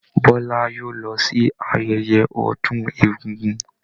Bọ́lá yóò lọ sí ayẹyẹ ọdún egúngún.